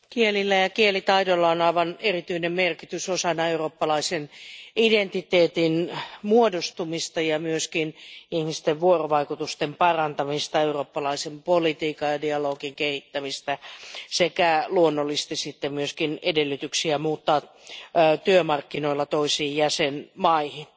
Arvoisa puhemies, kielillä ja kielitaidolla on aivan erityinen merkitys osana eurooppalaisen identiteetin muodostumista ja myöskin ihmisten vuorovaikutusten parantamista ja eurooppalaisen politiikan ja dialogin kehittämistä sekä luonnollisesti myöskin edellytyksenä muuttaa työmarkkinoilla toisiin jäsenmaihin.